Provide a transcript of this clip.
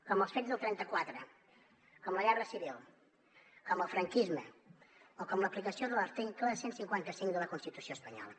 com els fets del trenta quatre com la guerra civil com el franquisme o com l’aplicació de l’article cent i cinquanta cinc de la constitució espanyola